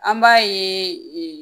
An b'a ye